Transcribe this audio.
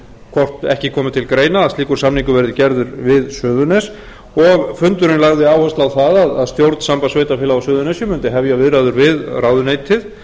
hvort ekki komi til greina að slíkur samningur verði gerður við suðurnes og fundurinn lagði áherslu á það að stjórn sambands sveitarfélaga á suðurnesjum mundi hefja viðræður við ráðuneytið